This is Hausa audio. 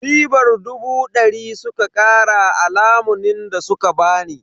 Ribar dubu dari suka kara a lamunin da suka bani.